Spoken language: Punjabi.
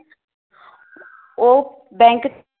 ਉਹ bank ਚ